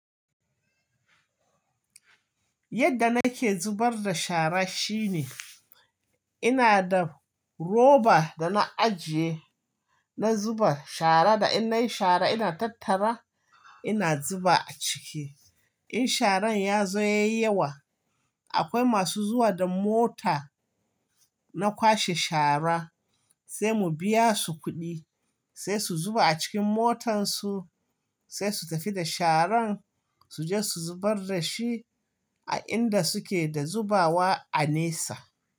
Yadda nake zubar da shara shine ina da roba da na ajiye na zuba shara da in nayi shara ina tattara ina zuba a ciki. In sharan ya zo yayi yawa akwai masu zuwa da mota na kwashe shara sai mu biya su kuɗi sai su zuba a cikin motansu sai su tafi da sharan suje su zubar da shi a inda suke da zubawa a nesa.